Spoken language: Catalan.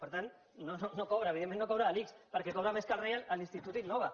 per tant no cobra evidentment no cobra de l’ics perquè cobra més que el rei a l’institut innova